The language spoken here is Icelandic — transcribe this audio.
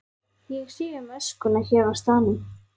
Ég sé um öskuna hér á staðnum.